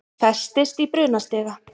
Festist í brunastiga